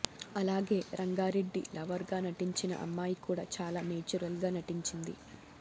అలాగే రంగారెడ్డి లవర్ గా నటించిన అమ్మాయి కూడా చాలా నేచురల్ గా నటించింది